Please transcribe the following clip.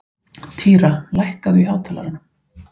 Týra, lækkaðu í hátalaranum.